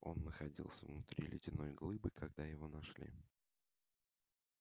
он находился внутри ледяной глыбы когда его нашли